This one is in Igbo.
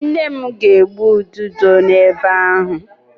Nne m ga-egbu ududo n'ebe ahu.